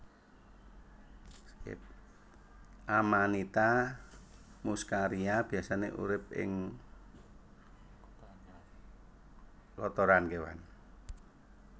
Amanita muscaria biasané urip ing kotoran kéwan